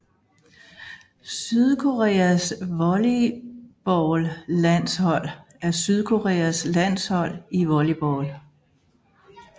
Sydkoreas volleyballlandshold er Sydkoreas landshold i volleyball